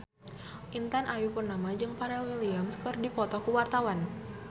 Intan Ayu Purnama jeung Pharrell Williams keur dipoto ku wartawan